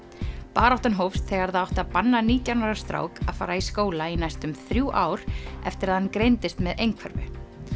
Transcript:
baráttan hófst þegar það átti að banna nítján ára strák að fara í skóla í næstum þrjú ár eftir að hann greindist með einhverfu